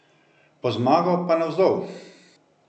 Po zmago pa navzdol.